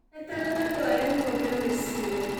Eterera ndware ng'ombe Mũciĩ